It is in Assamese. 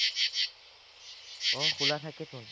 অ, খোলা থাকেতোন